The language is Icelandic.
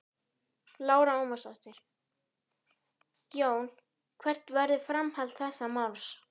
Lára Ómarsdóttir: Jón hvert verður framhald þessa máls?